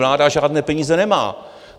Vláda žádné peníze nemá.